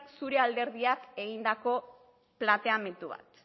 zure alderdian egindako planteamendu bat